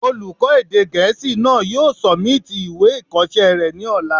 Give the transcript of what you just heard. Olùkọ́ èdè gẹ̀ẹ́sì náà yóò sọ̀míìtì ìwé ìkọsẹ́ rẹ̀ ní ọ̀la